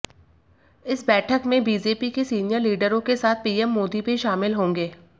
इस बैठक में बीजेपी के सीनियर लीडरों के साथ पीएम मोदी भी शामिल होंगे